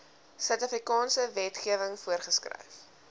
suidafrikaanse wetgewing voorgeskryf